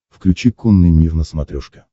включи конный мир на смотрешке